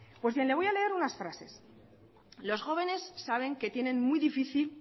pues bien le voy a leer unas frases los jóvenes saben que tienen muy difícil